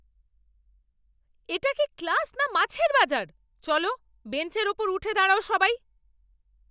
এটা কি ক্লাস না মাছের বাজার? চলো, বেঞ্চের ওপর উঠে দাঁড়াও সবাই!